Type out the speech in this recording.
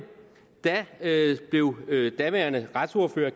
blev daværende retsordfører